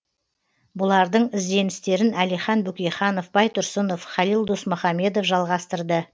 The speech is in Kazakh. бұлардың ізденістерін әлихан бөкейханов байтұрсынов халил досмұхамедов жалғастырды